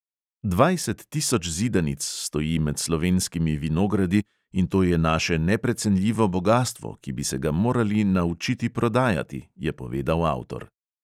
Dvajset tisoč zidanic stoji med slovenskimi vinogradi in to je naše neprecenljivo bogastvo, ki bi se ga morali naučiti prodajati, je povedal avtor.